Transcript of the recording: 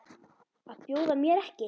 Að bjóða mér ekki.